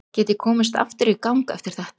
Get ég komist aftur í gang eftir þetta?